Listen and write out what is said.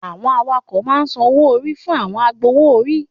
Àwọn awakọ̀ ma ń san owó orí fún àwọn agbowó orí